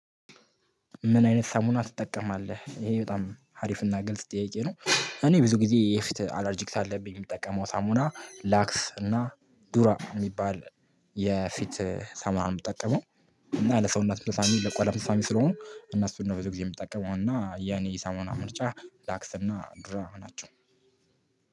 ምን አይነት ሳሙና ትጠቀማለህ? ይሄ በጣም ሀሪፍና ግልጽ ጥያቄ ነው እኔ ብዙ ጊዜ የፊት አላርጂክ አለብኝ የምጠቀመው ሳሙና ላክስ እና ዱራ የሚባል የፊት ሳሙና ነው የምጠቀመው። እና ለሰውነት ምሳሌ ለቋዳ ምሳሌ ስለሆኑ እና እሱን ነው ብዙ ጊዜ የምጠቀመው እና ያኔ ሳሙና ምርጫ ላክስና ዱራ ናቸው።